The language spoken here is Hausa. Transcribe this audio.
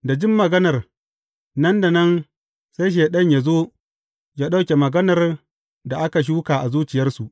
Da jin maganar, nan da nan sai Shaiɗan yă zo yă ɗauke maganar da aka shuka a zuciyarsu.